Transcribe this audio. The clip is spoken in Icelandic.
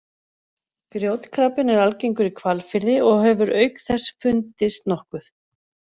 Grjótkrabbinn er algengur í Hvalfirði og hefur auk þess fundist nokkuð